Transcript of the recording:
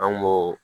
An b'o